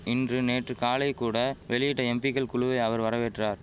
இன்று நேற்று காலை கூட வெளியிட்ட எம்பிக்கள் குழுவை அவர் வரவேற்றார்